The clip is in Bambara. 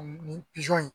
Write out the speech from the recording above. Nin pizɔn in